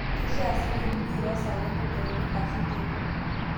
Keishaa sii neidurrieki too saai entedekenya ashuu teipa.